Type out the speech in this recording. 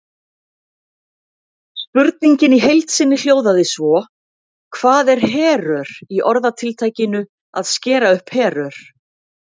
Spurningin í heild sinni hljóðaði svo: Hvað er herör í orðatiltækinu að skera upp herör?